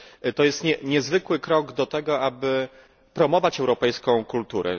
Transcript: To jest niezwykły krok do tego, aby promować europejską kulturę.